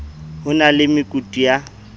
ho na le mekutu ya